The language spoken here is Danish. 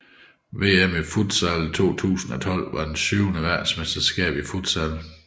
VM i futsal 2012 var det syvende verdensmesterskab i futsal